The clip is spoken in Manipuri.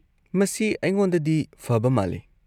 -ꯃꯁꯤ ꯑꯩꯉꯣꯟꯗꯗꯤ ꯐꯕ ꯃꯥꯜꯂꯤ꯫